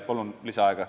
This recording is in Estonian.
Kolm minutit lisaaega.